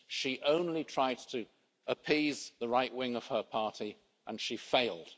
She only tried to appease the right wing of her party and she failed.